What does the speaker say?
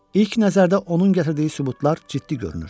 İlk nəzərdə onun gətirdiyi sübutlar ciddi görünür.